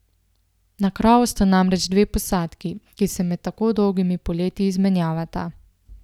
Na krovu sta namreč dve posadki, ki se med tako dolgimi poleti izmenjavata.